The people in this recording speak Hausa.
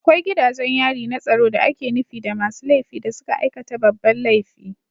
Akwai gidajen yari na tsaro da ake nufi da masu laifi da suka aikata babban laifi